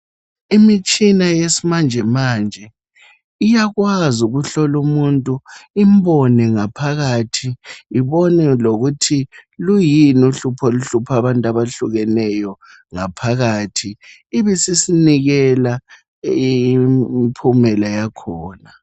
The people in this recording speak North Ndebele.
imitshina yesimanjemanje iyakwazi ukuhlola umuntu imbone ngaphakathi ibone lokuthi luyini uhlupho oluhlupha abantu abehlukeneyo ngaphakathi ibisisinikela impumela yakhona